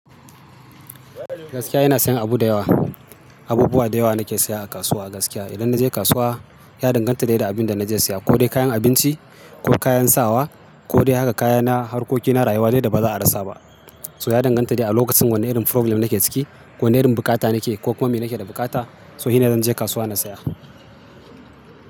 Gaskiya ina sayan abu da yawa. Abubuwa da yawa nake saya a kasuwa gaskiya. Idan na je kasuwa, ya danganta dai da abin da na je siya, ko dai kayan abinci ko kayan sawa ko dai haka kayana, harkokina, rayuwa de da ba za a rasa ba. To ya danganta dai a lokacin wani irin problem nake ciki, wani irin bukata nake ko komai nake da bukata. To shine zan je kasuwa na saya.